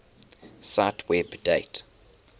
cite web date